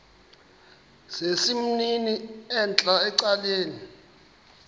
sesimnini entla ecaleni